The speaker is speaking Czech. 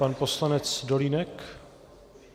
Pan poslanec Dolínek?